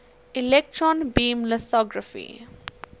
electron beam lithography